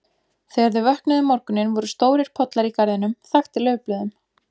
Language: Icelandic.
Þegar þau vöknuðu um morguninn voru stórir pollar í garðinum, þaktir laufblöðum.